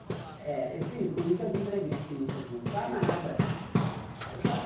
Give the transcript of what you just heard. É, eu fiz muitas entrevistas que não serviam para nada, né?